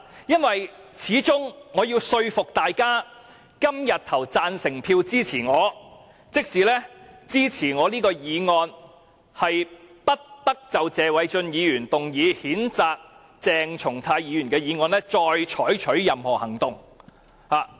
畢竟我要說服大家今天投下贊成票，支持我提出的議案，就是"不得就謝偉俊議員動議的譴責議案再採取任何行動"。